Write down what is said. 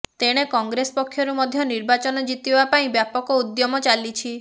ତେଣେ କଂଗ୍ରେସ ପକ୍ଷରୁ ମଧ୍ୟ ନିର୍ବାଚନ ଜିତିବା ପାଇଁ ବ୍ୟାପକ ଉଦ୍ୟମ ଚାଲିଛି